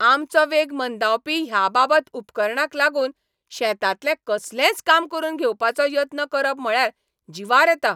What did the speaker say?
आमचो वेग मंदावपी ह्या बाबत उपकरणांक लागून शेतांतलें कसलेंच काम करून घेवपाचो यत्न करप म्हळ्यार जिवार येता.